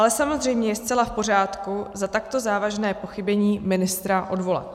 Ale samozřejmě je zcela v pořádku za takto závažné pochybení ministra odvolat.